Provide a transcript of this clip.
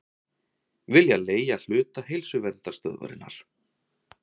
Vilja leigja hluta Heilsuverndarstöðvarinnar